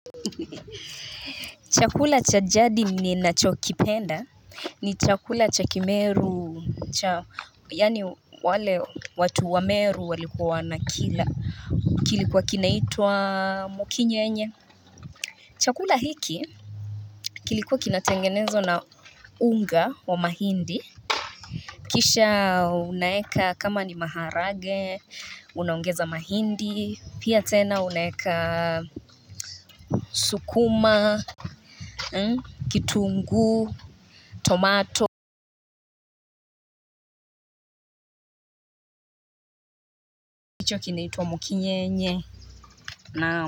Chakula cha jadi ninachokipenda ni chakula cha kimeru. Cha yaani wale watu wameru walikuwa wanakila kilikuwa kinaitwa mokinyenye Chakula hiki kilikuwa kinatengenezwa na unga wa mahindi kisha unaeka kama ni maharage unaongeza mahindi pia tena unaeka sukuma, kitunguu, tomato cho kinaitwa mukinyenye.